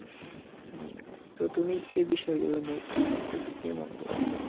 আহ তো তুমি এই বিষয়গুলো নিয়ে কি ভাবতেছ কি মনে করছো